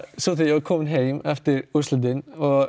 svo þegar ég var kominn heim eftir úrslitin